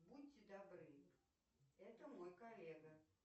будьте добры это мой коллега